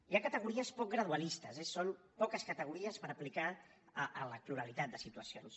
hi ha categories poc gradualistes eh són poques categories per aplicar a la pluralitat de situacions